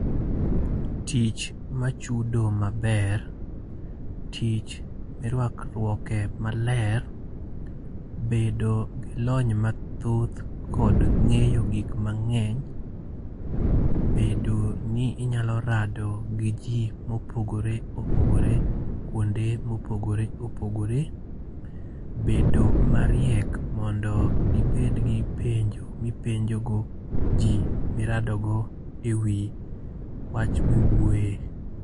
Tich machudo maber. Tich mirwakruoke maler, bedo gi lony mathoth kod ng'eyo gik mang'eny. Bedo ni inyalo rado gi ji mopogore opogore. Kwonde ma opogore opogore. Bedo mariek mondo dibed gi penjo ma ipenjogo ji ma iradogo e wi wach ma iwuoye.